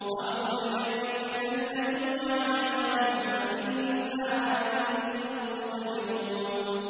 أَوْ نُرِيَنَّكَ الَّذِي وَعَدْنَاهُمْ فَإِنَّا عَلَيْهِم مُّقْتَدِرُونَ